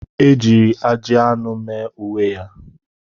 Ejiri ajị anụ mee uwe ya.